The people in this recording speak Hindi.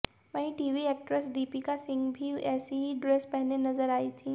वहीं टीवी एक्ट्रेस दीपिका सिंह भी ऐसी ही ड्रेस पहने नजर आई थीं